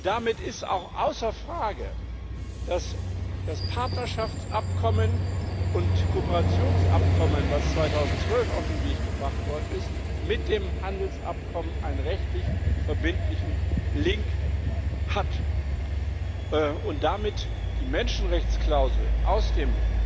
Damit ist auch außer Frage, dass das Partnerschafts und Kooperationsabkommen, das 2012 auf den Weg gebracht worden ist, mit dem Handelsabkommen eine rechtlich verbindliche Verknüpfung hat und damit die Menschenrechtsklausel aus dem